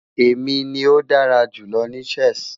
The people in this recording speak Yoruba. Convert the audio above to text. Emi ni o dara julọ ni Chess